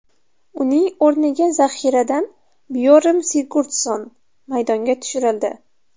Uning o‘rniga zaxiradan Byorm Sigurdsson maydonga tushirildi.